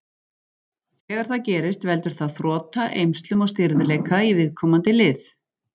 Þegar það gerist veldur það þrota, eymslum og stirðleika í viðkomandi lið.